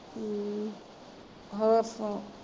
ਹਮ ਹੋਰ ਸੁਣਾਓ?